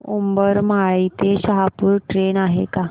उंबरमाळी ते शहापूर ट्रेन आहे का